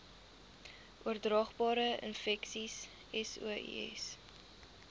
oordraagbare infeksies sois